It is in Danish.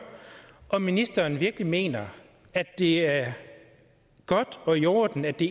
om ministeren virkelig mener at det er godt og i orden at det